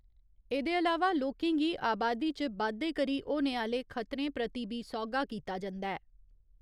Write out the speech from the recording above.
एह्दे अलावा लोकें गी आबादी च बाद्दे करी होने आहले खतरें प्रति बी सौह्गा कीता जंदा ऐ।